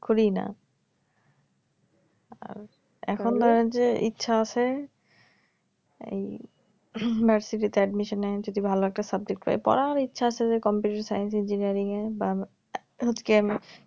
করিই না আর এখন আর যে ইচ্ছা আছে এই ভার্সিটিতে admission নিয়ে যদি ভালো একটা subject পাই পড়ার ইচ্ছা আছে যে computer scence engineering এ বা কেন